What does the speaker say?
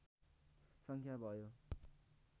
सङ्ख्या भयो